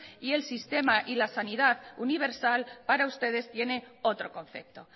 y es sistema y la sanidad universal para ustedes tiene otro concepto